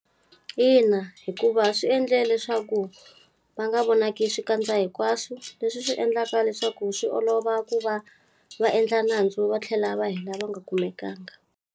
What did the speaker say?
Ina, hikuva swi endle leswaku va nga vonaki swikandza hinkwaswo. Leswi swi endlaka leswaku swi olova ku va va endla nandzu va tlhela va hela va nga kumekangi.